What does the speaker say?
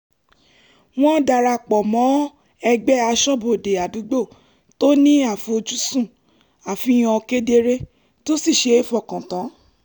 wọ́n darapọ̀ mọ́ ẹgbẹ́ aṣọ́bodè àdúgbò tó ní àfoj́sùn àfihàn kedere tó sì ṣe é fọkàn tán